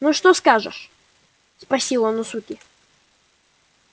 ну что скажешь спросил он у суки